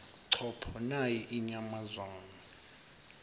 chopho nayi inyamazane